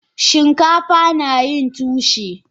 Shinkafa nayin tushe.